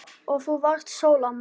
Og þú varst sól, amma.